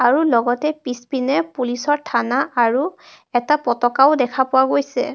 আৰু লগতে পিছপিনে পুলিচ ৰ থানা আৰু এটা পতকাও দেখা পোৱা গৈছে.